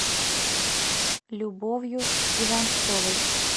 любовью иванцовой